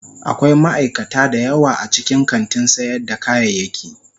Akwai ma'aikata da yawa a cikin kantin sayar da kayayyaki.